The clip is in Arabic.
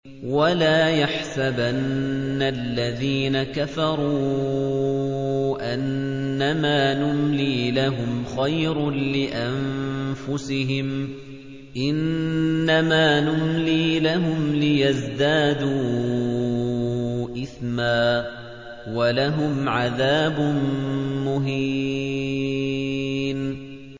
وَلَا يَحْسَبَنَّ الَّذِينَ كَفَرُوا أَنَّمَا نُمْلِي لَهُمْ خَيْرٌ لِّأَنفُسِهِمْ ۚ إِنَّمَا نُمْلِي لَهُمْ لِيَزْدَادُوا إِثْمًا ۚ وَلَهُمْ عَذَابٌ مُّهِينٌ